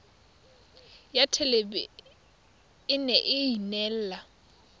ya thelebi ene e neela